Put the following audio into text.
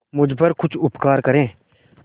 मुझ पर कुछ उपकार करें